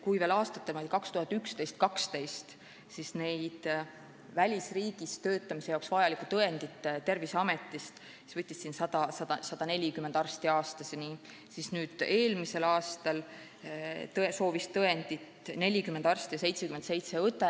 Kui aastatel 2011 ja 2012 võttis välisriigis töötamise jaoks vajaliku tõendi Terviseametist välja umbes 140 arsti aastas, siis eelmisel aastal soovis seda tõendit 40 arsti ja 77 õde.